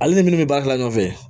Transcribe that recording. Ale ni minnu bɛ baara kɛ ɲɔgɔn fɛ